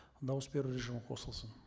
дауыс беру режимі қосылсын